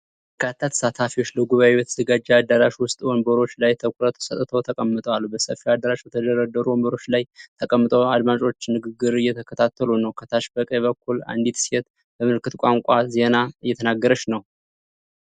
በርካታ ተሳታፊዎች ለጉባኤ በተዘጋጀ አዳራሽ ውስጥ ወንበሮች ላይ ትኩረት ሰጥተው ተቀምጠዋል። በሰፊው አዳራሽ በተደረደሩት ወንበሮች ላይ ተቀምጠው አድማጮች ንግግር እየተከታተሉ ነው። ከታች በቀኝ በኩል አንዲት ሴት በምልክት ቋንቋ ዜና እየተናገረች ነው።